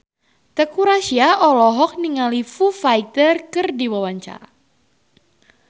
Teuku Rassya olohok ningali Foo Fighter keur diwawancara